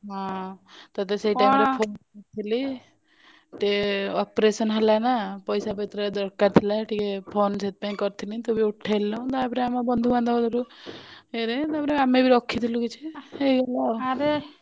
ହଁ ତତେ ସେଇ time ରେ phone କରିଥିଲି operation ହେଲାନା ପଇସା ପତର ଦରକାର ଥିଲା ଟିକେ phone ସେଥିପାଇଁ କରିଥିଲି ତୁ ବି ଉଠେଇଲୁନି ତାପରେ ଆମ ବନ୍ଧୁ ବାନ୍ଧ ଘରୁ ଏଇ ରେ ଆମେ ବି ରଖିଥିଲୁ କିଛି ହେଇଗଲା